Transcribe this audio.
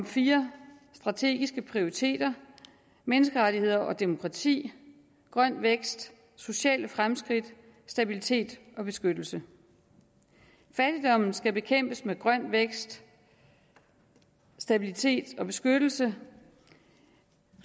fire strategiske prioriteter menneskerettigheder og demokrati grøn vækst sociale fremskridt stabilitet og beskyttelse fattigdommen skal bekæmpes med grøn vækst stabilitet og beskyttelse